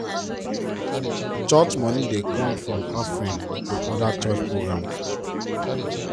church money dey come form offerings and other church program.